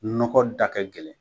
Nɔgɔ da kɛ gɛlɛn.